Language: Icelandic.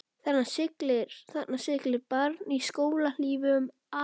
Þarna siglir barn í skóhlífum afa síns.